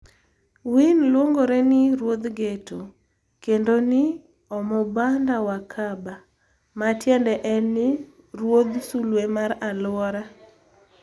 Wine luongore ni "Ruodh Ghetto" kendo ni "Omubanda Wakaba", matiende en ni "Ruodh Sulwe mar Alwora".